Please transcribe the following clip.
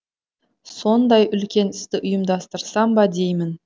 сондай үлкен істі ұйымдастырсам ба деймін